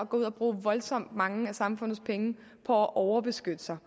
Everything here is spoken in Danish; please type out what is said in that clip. gå ud og bruge voldsomt mange af samfundets penge på at overbeskytte sig